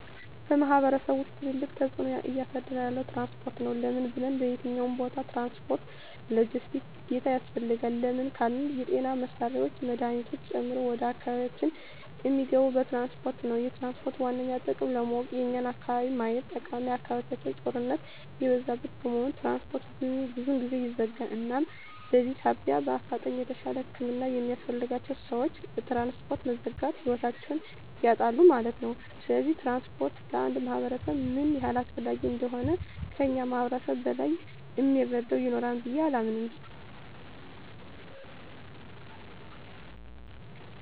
በማሕበረሰቡ ውስጥ ትልቅ ተፅዕኖ እያሳደረ ያለዉ ትራንስፖርት ነዉ። ለምን ብንል በየትኛዉም ቦታ ትራንስፖርት(ሎጀስቲክስ) ግዴታ ያስፈልጋል። ለምን ካልን የጤና መሳሪያወች መድሀኒቶችን ጨምሮ ወደ አካባቢያችን እሚገቡት በትራንስፖርት ነዉ። የትራንስፖርትን ዋነኛ ጥቅም ለማወቅ የኛን አካባቢ ማየት ጠቃሚ አካባቢያችን ጦርነት የበዛበት በመሆኑ ትራንስፖርት ብዙ ጊዜ ይዘጋል እናም በዚህ ሳቢያ በአፋጣኝ የተሻለ ህክምና የሚያስፈልጋቸዉ ሰወች በትራንስፖርት መዘጋት ህይወታቸዉን ያጣሉ ማለት ነዉ። ስለዚህ ትራንስፖርት ለአንድ ማህበረሰብ ምን ያህል አስፈላጊ እንደሆነ ከእኛ ማህበረሰብ በላይ እሚረዳ ይኖራል ብየ አላምንም።